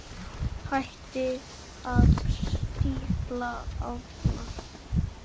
Hættið að stífla árnar.